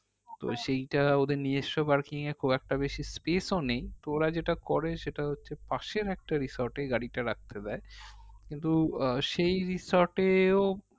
তো সেইটা নিজেস্ব parking এ খুব একটা বেশি space ও নেই তো ওরা যেইটা করে সেটা হচ্ছে পাশের একটা resort এ গাড়িটা রাখতে দেয় কিন্তু আহ সেই resort এও